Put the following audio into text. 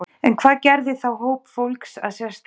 En hvað gerði þá hóp fólks að sérstakri þjóð?